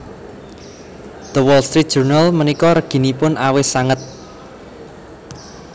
The Wall Street Journal menika reginipun awis sanget